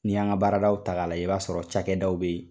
Ni y'an ka baaradaw ta k'a lajɛ, i b'a sɔrɔ cakɛdaw bɛ yen